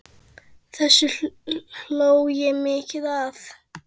Þessu hló ég mikið að.